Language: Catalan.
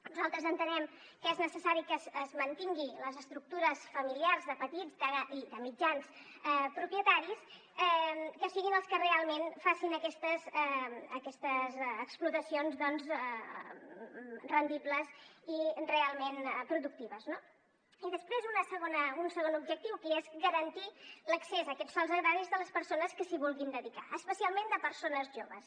nosaltres entenem que és necessari que es mantinguin les estructures familiars de petits i de mitjans propietaris que siguin els que realment facin aquestes explotacions doncs rendibles i realment productives no i després un segon objectiu que és garantir l’accés a aquests sòls agraris a les persones que s’hi vulguin dedicar especialment persones joves